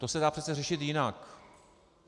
To se dá přece řešit jinak.